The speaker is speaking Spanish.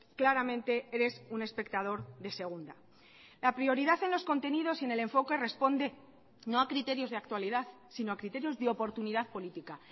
claramente eres un espectador de segunda la prioridad en los contenidos y en el enfoque responde no a criterios de actualidad sino a criterios de oportunidad política